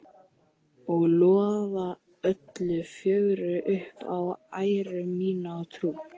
Og lofa öllu fögru upp á æru mína og trú.